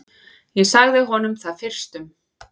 Ég sagði honum það fyrstum.